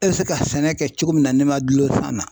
E bɛ se ka sɛnɛ kɛ cogo min na n'i ma dulon san na ,